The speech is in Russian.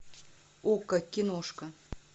окко киношка